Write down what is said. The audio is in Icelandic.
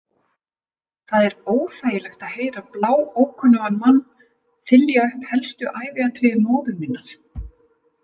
Það er óþægilegt að heyra bláókunnugan mann þylja upp helstu æviatriði móður minnar.